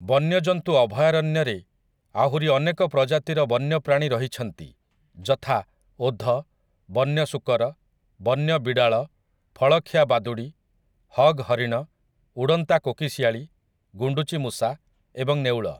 ବନ୍ୟଜନ୍ତୁ ଅଭୟାରଣ୍ୟରେ ଆହୁରି ଅନେକ ପ୍ରଜାତିର ବନ୍ୟପ୍ରାଣୀ ରହିଛନ୍ତି ଯଥା, ଓଧ, ବନ୍ୟ ଶୂକର, ବନ୍ୟ ବିଡ଼ାଳ, ଫଳଖିଆ ବାଦୁଡ଼ି, ହଗ୍ ହରିଣ, ଉଡ଼ନ୍ତା କୋକିଶିଆଳି, ଗୁଣ୍ଡୁଚି ମୂଷା ଏବଂ ନେଉଳ ।